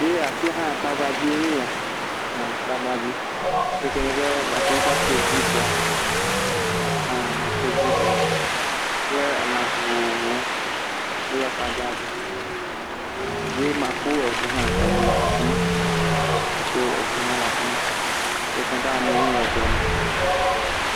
Eya afiya nye tagbadze ye ya. Aha tagbadze, eyike nye be mate ŋuti akpɔ zibra hã makpɔ zibra kple elã vovovowo wole tagbadze hum ye makpɔ eŋu hã, eŋu le afima. Makpɔ eŋu hã le afima yike nye be amewo le eŋua me.